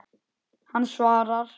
Hann svarar.